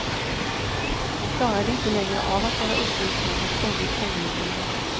Hon klarade inte längre av att vara uppe utan var ständigt sängliggande.